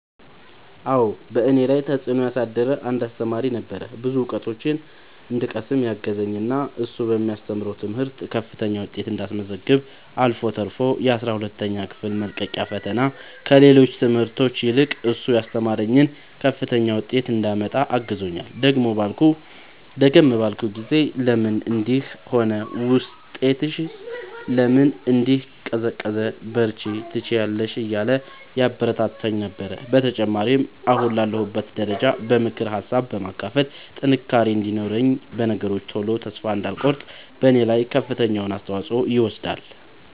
አዎ በእኔ ላይ ተፅእኖ ያሳደረ አንድ አሰተማሪ ነበረ። ብዙ እውቀቶችን እንድቀስም ያገዘኝ እና እሱ በሚያስተምረው ትምህርት ከፍተኛ ውጤት እንዳስመዘግብ አልፎ ተርፎ የአስራ ሁለተኛ ክፍል መልቀቂያ ፈተና ከሌሎች ትምህርቶች ይልቅ እሱ ያስተማረኝን ከፍተኛ ውጤት እንዳመጣ አግዞኛል። ደከም ባልኩ ጊዜ ለምን እንዲህ ሆነ ውጤትሽስ ለምን እንዲህ ቀዘቀዘ በርቺ ትችያለሽ እያለ ያበረታታኝ ነበረ። በተጨማሪም አሁን ላለሁበት ደረጃ በምክር ሀሳብ በማካፈል ጥንካሬ እንዲኖረኝ በነገሮች ቶሎ ተስፋ እንዳልቆርጥ በኔ ላይ ከፍተኛውን አስተዋፅኦ ይወስዳል።